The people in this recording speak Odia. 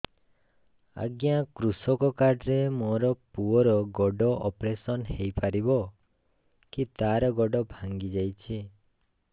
ଅଜ୍ଞା କୃଷକ କାର୍ଡ ରେ ମୋର ପୁଅର ଗୋଡ ଅପେରସନ ହୋଇପାରିବ କି ତାର ଗୋଡ ଭାଙ୍ଗି ଯାଇଛ